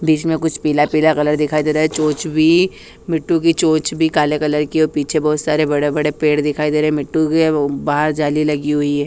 बिच में कुछ पीला पीला कलर दिखाई दे रहा है चोंच भी मिठू की मिठू की चोंच भी काले कलर की है और पीछे बहोत सारे बड़े बड़े पेड़ दिखाई दे रहे है मिठू के बहार झाली लगी हुई है।